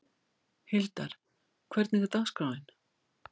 Hildar, hvernig er dagskráin?